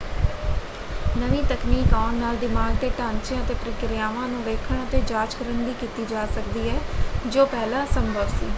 ਨਵੀਂ ਤਕਨੀਕ ਆਉਣ ਨਾਲ ਦਿਮਾਗ ਦੇ ਢਾਂਚਿਆਂ ਅਤੇ ਪ੍ਰਕਿਰਿਆਵਾਂ ਨੂੰ ਵੇਖਣ ਅਤੇ ਜਾਂਚ ਕਰਨ ਦੀ ਕੀਤੀ ਜਾ ਸਕਦੀ ਹੈ ਜੋ ਪਹਿਲਾਂ ਅਸੰਭਵ ਸੀ।